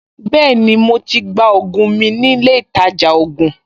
Bẹ́ẹ̀ni, mo to gba ògùn mi nílé ìtajà ògùn